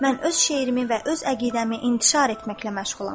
Mən öz şeirimi və öz əqidəmi intişar etməklə məşğulam.